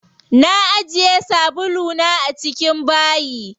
Na ajiye sabulu na a cikin bayi.